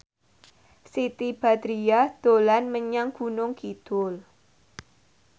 Siti Badriah dolan menyang Gunung Kidul